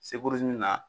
Seburu min na